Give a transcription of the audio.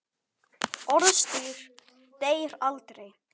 Orðstír deyr aldrei.